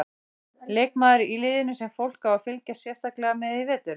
Leikmaður í liðinu sem fólk á að fylgjast sérstaklega með í vetur?